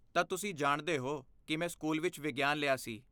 ਤਾਂ ਤੁਸੀਂ ਜਾਣਦੇ ਹੋ ਕਿ ਮੈਂ ਸਕੂਲ ਵਿੱਚ ਵਿਗਿਆਨ ਲਿਆ ਸੀ?